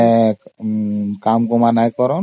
ସେଥିରେ କିଛି କାମ କରନି